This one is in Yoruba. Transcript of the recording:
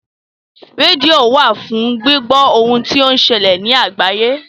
Rédíò wà fún gbíbọ́ ohun tó ń ṣẹlè ní àgbáyé.